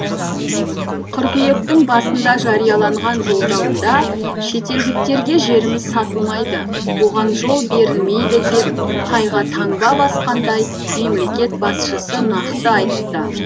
қыркүйектің басында жарияланған жолдауында шетелдіктерге жеріміз сатылмайды оған жол берілмейді деп тайға таңба басқандай мемлекет басшысы нақты айтты